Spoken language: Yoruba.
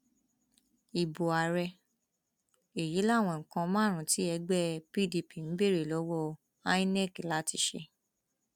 ibo ààrẹ èyí làwọn nǹkan márùnún tí ẹgbẹ pdp ń béèrè lọwọ inov láti ṣe